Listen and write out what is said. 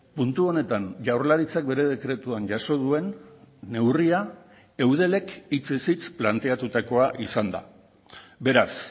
puntu honetan jaurlaritzak bere dekretuan jaso duen neurria eudelek hitzez hitz planteatutakoa izanda beraz